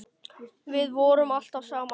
Við vorum alltaf saman.